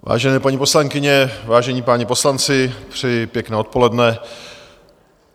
Vážené paní poslankyně, vážení páni poslanci, přeji pěkné odpoledne.